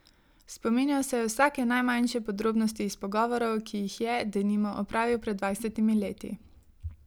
Spominjal se je vsake najmanjše podrobnosti iz pogovorov, ki jih je, denimo, opravil pred dvajsetimi leti.